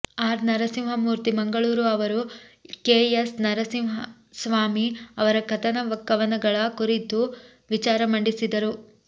R Narasimhamurthy Mangaluru ಅವರು K S Narasimhaswamy ಅವರ ಕಥನ ಕವನಗಳ ಕುರಿತು ವಿಚಾರ ಮಂಡಿಸಿದರು